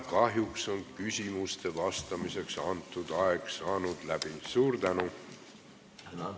Kahjuks on küsimustele vastamiseks antud aeg läbi saanud.